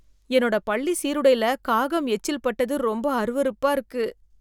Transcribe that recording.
என்னோட பள்ளி சீருடைல காகம் எச்சில்பட்டது ரொம்ப அருவருப்பா இருக்கு